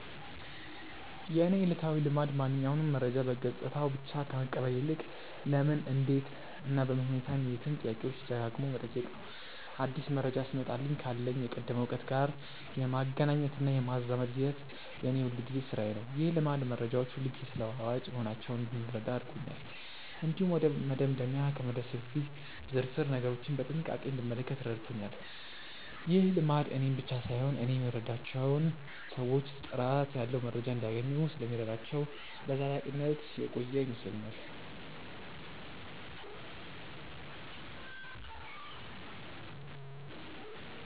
የእኔ ዕለታዊ ልማድ ማንኛውንም መረጃ በገጽታው ብቻ ከመቀበል ይልቅ "ለምን? እንዴት? እና በምን ሁኔታ" የሚሉትን ጥያቄዎች ደጋግሞ መጠየቅ ነው። አዲስ መረጃ ሲመጣልኝ ካለኝ የቀደመ እውቀት ጋር የማገናኘትና የማዛመድ ሂደት የእኔ የሁልጊዜ ሥራዬ ነው። ይህ ልማድ መረጃዎች ሁልጊዜ ተለዋዋጭ መሆናቸውን እንድረዳ አድርጎኛል። እንዲሁም ወደ መደምደሚያ ከመድረሴ በፊት ዝርዝር ነገሮችን በጥንቃቄ እንድመለከት ረድቶኛል። ይህ ልማድ እኔን ብቻ ሳይሆን እኔ የምረዳቸውን ሰዎችም ጥራት ያለው መረጃ እንዲያገኙ ስለሚረዳቸው በዘላቂነት የቆየ ይመስለኛል።